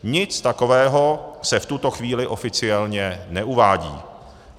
Nic takového se v tuto chvíli oficiálně neuvádí.